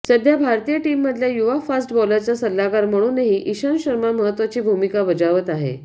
सध्या भारतीय टीममधल्या युवा फास्ट बॉलरचा सल्लागार म्हणूनही ईशांत शर्मा महत्त्वाची भूमिका बजावत आहे